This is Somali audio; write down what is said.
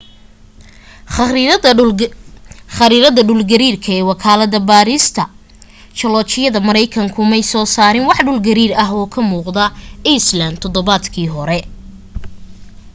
khariirada dhul gariirka ee wakaalada baarista joolajyada markaykanku may soo saarin wax dhul gariir ah oo ka muuqda iceland todobaadkii hore